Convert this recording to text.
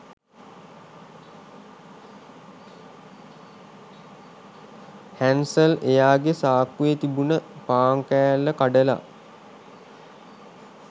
Hansel එයාගේ සාක්කුවේ තිබුණ පාන් කෑල්ල කඩලා